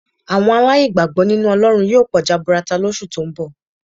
Àwọn aláìgbàgbọ́ nínú Ọlọ́run yóò pọ̀ jaburata lóṣù tó ń bọ̀